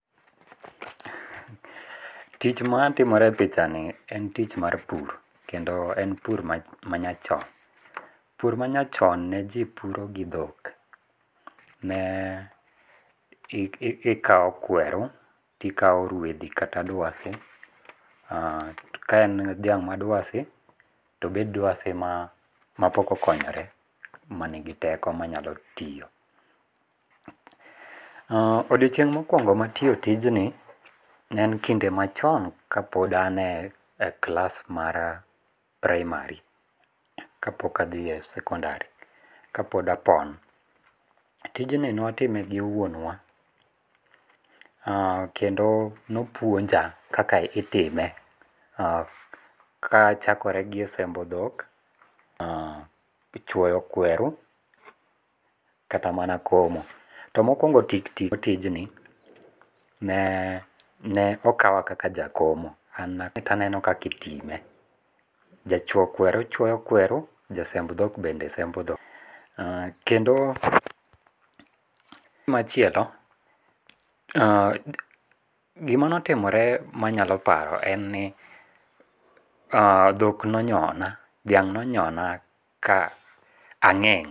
Tich matimore e pichani en tich mar pur kendo en pur manyachon. Pur manyachon ne jii puro gi dhok, ne ikao kweru tikao rwedhi kata dwasi aah ka en dhiang' mar dwasi tobed dwasi mapok okonyore manigi teko manyalo tiyo. Aaah, odiochieng' mokuongo matiyo tijni, ne en kinde machon kapod an e klas mar primary, kapok adhi e sekondari kapod apon. Tijni ne watime gi wuon wa, aah kendo nopuonja kaka itime, aah, kachakore gi e sembo dhok, chuoyo kweru kata mana komo. To mokuongo tik tik e tijni, ne ne okawa kaka jakomo, ne aneno kaka itime, jachuo kweru chuo kweru, jasemb dhok bende sembo dhok, kendo gimachielo, aah, gima notimore manyalo paro en ni aah, dhok nonyona, dhiang' nonyona ka ang'eng'